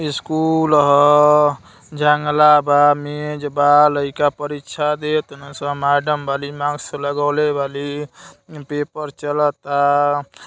School ह जंगला बा मेज बा लाईका परीक्षा देतानसन मैडम बाली मास्क लगाउले बाली पेपर चलता।